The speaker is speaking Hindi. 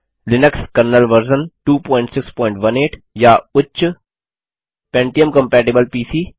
लिनक्स कर्नेल वर्जन 2618 या उच्च160 पेंटियम कम्पैटबल पीसी